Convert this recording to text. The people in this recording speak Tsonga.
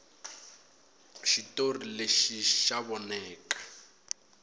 xitori lexi xa voneka